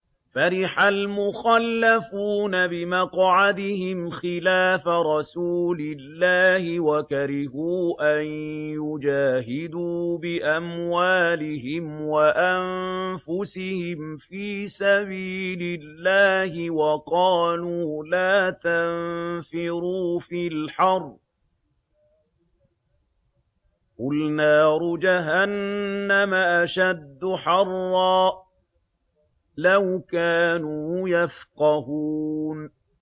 فَرِحَ الْمُخَلَّفُونَ بِمَقْعَدِهِمْ خِلَافَ رَسُولِ اللَّهِ وَكَرِهُوا أَن يُجَاهِدُوا بِأَمْوَالِهِمْ وَأَنفُسِهِمْ فِي سَبِيلِ اللَّهِ وَقَالُوا لَا تَنفِرُوا فِي الْحَرِّ ۗ قُلْ نَارُ جَهَنَّمَ أَشَدُّ حَرًّا ۚ لَّوْ كَانُوا يَفْقَهُونَ